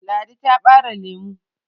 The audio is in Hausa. ladi ta bare lemo